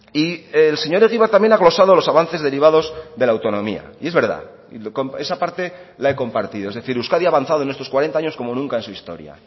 y el señor egibar también ha glosado los avances derivados de la autonomía y es verdad y esa parte la he compartido es decir euskadi ha avanzado en estos cuarenta años como nunca en su historia